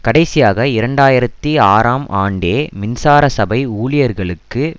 கடைசியாக இரண்டு ஆயிரத்தி ஆறாம் ஆண்டே மின்சார சபை ஊழியர்களுக்கு